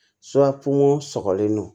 sɔgɔlen don